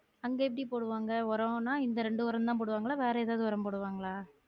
அங்க எப்படி போடுவாங்க ஒரம்னா இந்த இரண்டு ஒரம் தான் போடுவாங்களா வேற எதாவது ஒரம் போடுவாங்களா?